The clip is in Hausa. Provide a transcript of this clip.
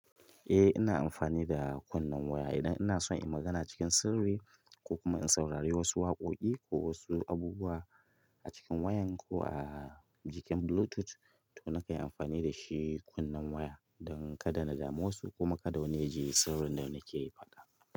Eh ina amfani da kunnen waya idan ina so in magana cikin sirri ko kuma in saurari wasu waƙoƙi ko wasu abubuwa acikin wayan ko a jikin Bluetooth to nakan yi anfani da shi kunnen waya dan kada na dame wasu kuma kada wani yaji sirrin da nake faɗa.